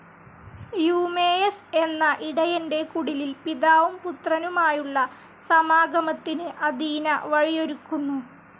Eumaeus എന്ന ഇടയന്റെ കുടിലിൽ പിതാവും പുത്രനുമായുളള സമാഗമത്തിന് അഥീന വഴിയൊരുക്കുന്നു.